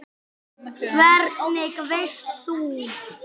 Hvernig veist þú?